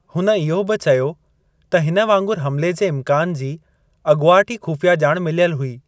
हुन इहो बि चयो त हिन वांगुरु हमिले जे इम्कान जी अॻुवाट ई ख़ुफ़िया ॼाण मिलियल हुई।